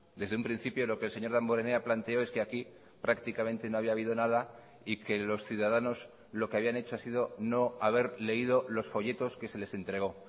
desde un principio lo que el señor damborenea planteó es que aquí prácticamente no había habido nada y que los ciudadanos lo que habían hecho ha sido no haber leído los folletos que se les entregó